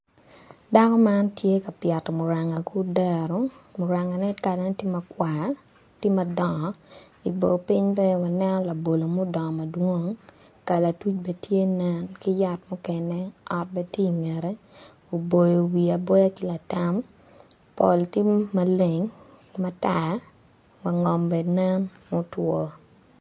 Dako man tye ka pyeto muranga ki odero murangane kalane tye ma kwa tye madongo i boo piny bene waneno labolo mudongo madwong kalatuc bene tye nen ot bene tye i ngete oboyo wiye aboya ki latam pol tye maleng matar wangom bene nen mutwo.